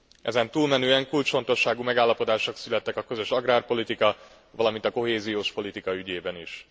Ezen túlmenően kulcsfontosságú megállapodások születtek a közös agrárpolitika, valamint a kohéziós politika ügyében is.